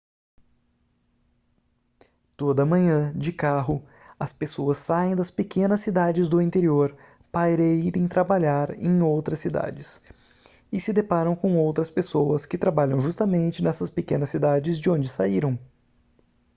toda manhã de carro as pessoas saem das pequenas cidades do interior para irem trabalhar em outras cidades e se deparam com outras pessoas que trabalham justamente nessas pequenas cidades de onde saíram